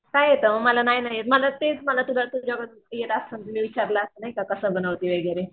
काय येत मला नाही ना येत मला तेच मला तुझा तूझ्याकडून येत असतं तर विचारलं असतं नाहीका कसं बनवते वगैरे.